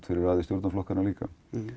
fyrir stjórnarflokkana líka